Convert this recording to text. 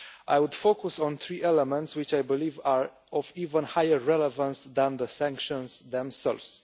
I will focus on three elements, which I believe are of even higher relevance than the sanctions themselves.